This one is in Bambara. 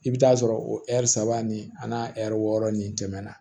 I bɛ taa sɔrɔ o ɛri saba ni a n'a ɛri wɔɔrɔ nin tɛmɛna